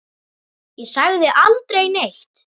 Ég sagði aldrei neitt.